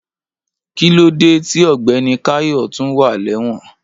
Kìlóde ti ọgbẹní kàyọ́ tún wà lẹwon?